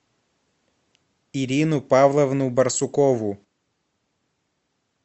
ирину павловну барсукову